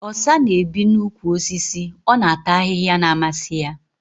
Osa na-ebi n'úkwù osisi. Ọ na-ata ahịhịa na-amasị ya